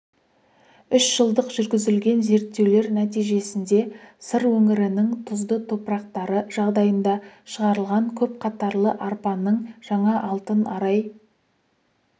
үш жылдық жүргізілген зерттеулер нәтижесінде сыр өңірінің тұзды топырақтары жағдайында шығарылған көпқатарлы арпаның жаңа алтын арай